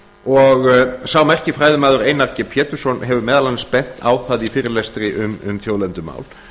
og sá merki fræðimaður einar g pétursson hefur meðal annars bent á það í fyrirlestri um þjóðlendumál